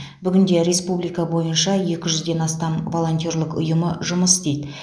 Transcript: бүгінде республика бойынша екі жүзден астам волонтерлік ұйымы жұмыс істейді